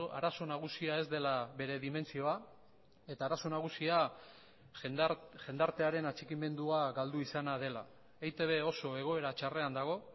arazo nagusia ez dela bere dimentsioa eta arazo nagusia jendartearen atxikimendua galdu izana dela eitb oso egoera txarrean dago